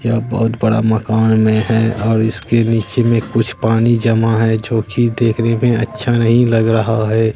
यह बहोत बड़ा मकान में है और इसके नीचे में कुछ पानी जमा है जो की देखने में अच्छा नहीं लग रहा है।